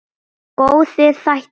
Góðir þættir.